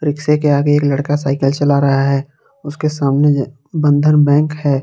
Rickshaw के आगे एक लड़का साइकल चला रहा है उसके सामने बंधन बैंक है।